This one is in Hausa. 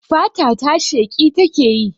Fata ta sheƙi takeyi